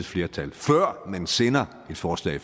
flertal før den sender et forslag i